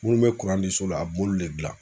Munnu be kuran di so la a b'olu le dilan.